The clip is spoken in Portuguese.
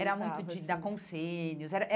Eh era era muito de dar conselhos.